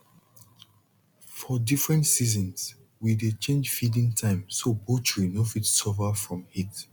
for different seasons we dey change feeding time so poultry no fit suffer from heat